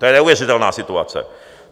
To je neuvěřitelná situace.